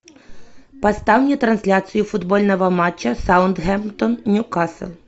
поставь мне трансляцию футбольного матча саутгемптон ньюкасл